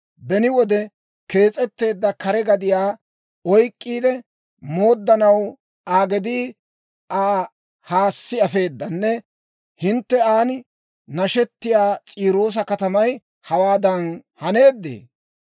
Beni wode kees'etteedda, kare gadiyaa oyk'k'iide mooddanaw Aa gedii Aa haassi afeedanne, hintte aan nashettiyaa S'iiroosa katamay hawaadan haneedee?